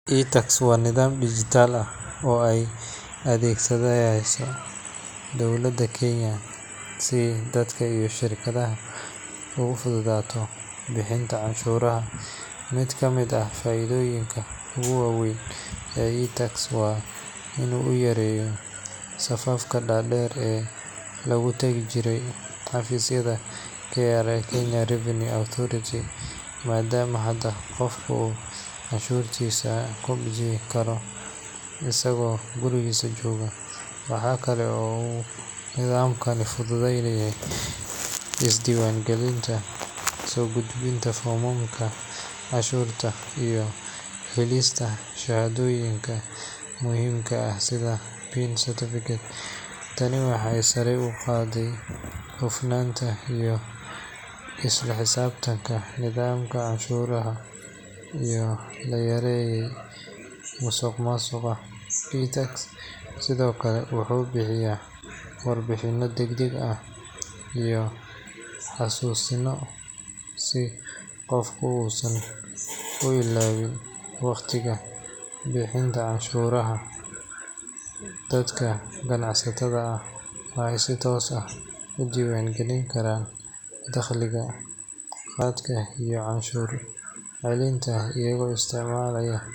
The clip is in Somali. iTax waa nidaam dijitaal ah oo ay adeegsanayso dowladda Kenya si dadka iyo shirkadaha ugu fududaato bixinta canshuuraha. Mid ka mid ah faa’iidooyinka ugu waa weyn ee iTax waa in uu yareeyo safafka dhaadheer ee lagu tagi jiray xafiisyada KRA (Kenya Revenue Authority), maadaama hadda qofku uu canshuurtiisa ku bixin karo isagoo gurigiisa jooga. Waxaa kale oo uu nidaamkani fududeeyay isdiiwaangelinta, soo gudbinta foomamka canshuurta, iyo helista shahaadooyinka muhiimka ah sida PIN certificate. Tani waxay sare u qaaday hufnaanta iyo isla xisaabtanka nidaamka canshuuraha, iyadoo la yareeyay musuqmaasuqa. iTax sidoo kale wuxuu bixiya warbixino degdeg ah iyo xasuusinno si qofku uusan u ilaawin waqtiga bixinta canshuurta. Dadka ganacsatada ah waxay si toos ah u diiwaangelin karaan dakhliga, kharashaadka iyo canshuur celinta iyagoo isticmaalaya.